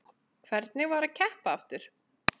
Hvernig var að keppa aftur?